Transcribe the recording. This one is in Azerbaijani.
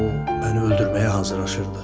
O məni öldürməyə hazırlaşırdı.